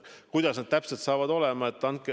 Kuidas see täpselt saab olema?